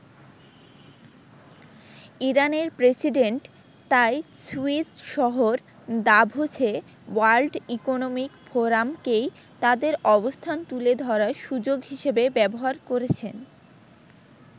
ইরানের প্রেসিডেন্ট তাই সুইস শহর দাভোসে ওয়ার্ল্ড ইকনমিক ফোরামকেই তাদের অবস্থান তুলে ধরার সুযোগ হিসেবে ব্যবহার করেছেন।